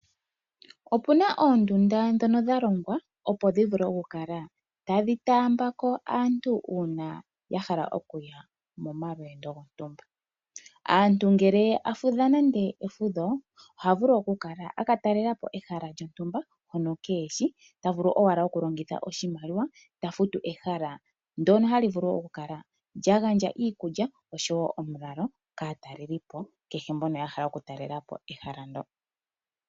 Opuna oondunda ndhono dhalongwa opo dhi vule okukala tadhi taamba ko aantu uuna yahala okuya momalweendo gontumba . Aantu ngele yafudha nande efudho ohaya vulu oku kala aka talelapo ehala lyontumba hono keeheshi tavulu owala okulongitha oshimaliwa eta futu ehala ndono hali vulu oku kala lyagandja iikulya oshowo omulalo kaatalelipo kehe mbono yahala oku talelapo ehala ndjo.